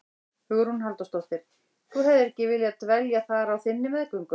Hugrún Halldórsdóttir: Þú hefðir ekki viljað dvelja þar á þinni meðgöngu?